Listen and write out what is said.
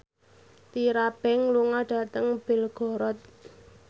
Tyra Banks lunga dhateng Belgorod